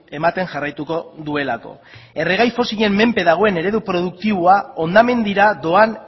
ematen jarraituko duelako erregai fosilen menpe dagoen eredu produktiboa hondamendira doan